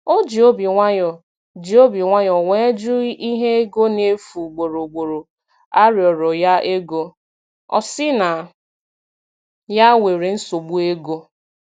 O ji obi nwayọ ji obi nwayọ wee jụ inye ego na efu ugboro ugboro a rịọrọ ya ego, ọ si na ya nwere nsogbu ego.